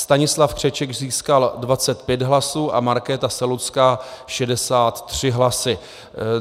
Stanislav Křeček získal 25 hlasů a Markéta Selucká 63 hlasy.